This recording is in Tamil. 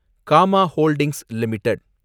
gamma holdings limited